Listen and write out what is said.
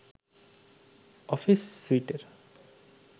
office স্যুটের